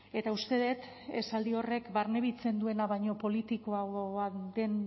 eta uste dut esaldi horrek barnebiltzen duena baino politikoagoa den